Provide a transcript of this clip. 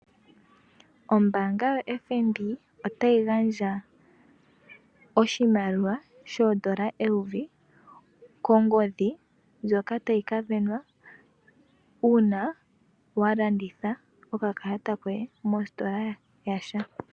Ombaanga yoFNB otayi gandja oshimaliwa shoodola eyovi kongodhi ndjoka tayi kasindanwa uuna wa landitha okakalata koye mositola ya sha.